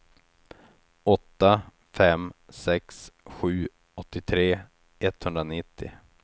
åtta fem sex sju åttiotre etthundranittio